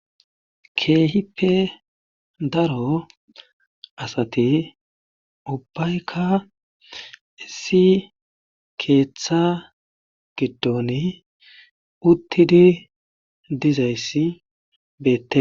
Keehippe daro asati ubbaykka issi keetha giddoni uttidi dizayssi beete.